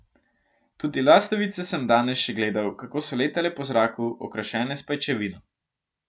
Tudi lastovice sem danes še gledal, kako so letale po zraku, okrašene s pajčevino.